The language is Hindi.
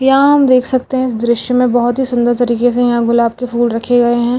यहाँ हम देख सकते है इस दृश्य में बहुत हि सुन्दर तरीके से यहाँ गुलाब के फूल रखे गए है।